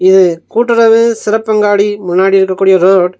இது கூட்டுறவு சிறப்பங்காடி முன்னாடி இருக்கக்கூடிய ரோட் .